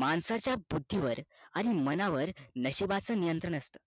माणसाचा बुद्धी वर आणि मनावर नशिबाचे नियंत्रण असते